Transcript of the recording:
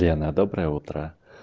лена доброе утро